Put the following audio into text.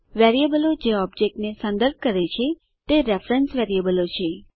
વેરીએબલો જે ઓબજેક્ટને સંદર્ભ કરે છે તે રેફરેન્સ વેરીએબલો છે